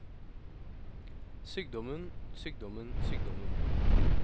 sykdommen sykdommen sykdommen